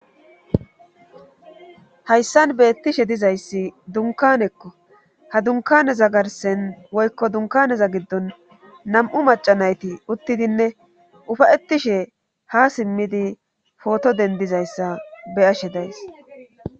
hayssan beettishe dizayssi dunkanekko ha dunkaneza garsen woykko dunkaneza giddon nam7u macanayti uttidinne ufayettishe ha simmidi pooto dendizayssa be ashe days